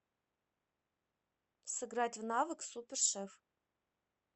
сыграть в навык супер шеф